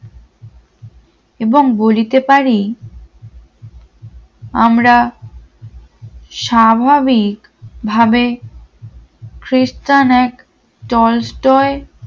এবং বলিতে পারি আমরা স্বাভাবিক ভাবে খ্রিস্টান এক টলস্টয়